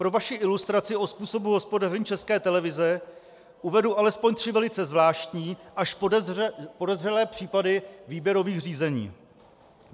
Pro vaši ilustraci o způsobu hospodaření České televize uvedu alespoň tři velice zvláštní až podezřelé případy výběrových řízení.